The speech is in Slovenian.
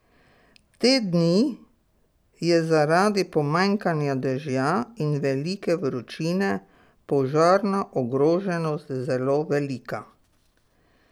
Te dni je zaradi pomanjkanja dežja in velike vročine požarna ogroženost zelo velika.